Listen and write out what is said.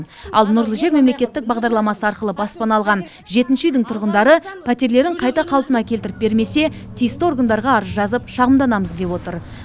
ал нұрлы жер мемлекеттік бағдарламасы арқылы баспана алған жетінші үйдің тұрғындары пәтерлерін қайта қалпына келтіріп бермесе тиісті органдарға арыз жазып шағымданамыз деп отыр